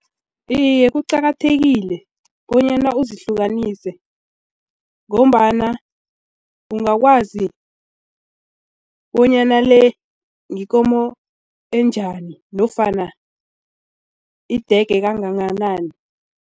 Iye, kuqakathekile bonyana uzihlukanisele ngombana ungakwazi bonyana le yikomo enjani nofana idege kangakanani.